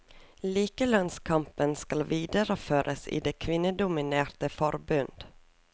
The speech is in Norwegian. Likelønnskampen skal videreføres i det kvinnedominerte forbund.